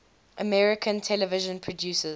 american television producers